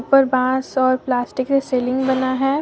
ऊपर बांस और प्लास्टिक से सीलिंग बना है।